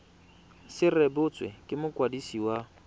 se rebotswe ke mokwadisi wa